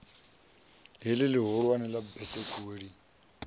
heḽi ḽihulwane ḽa besekuwe lini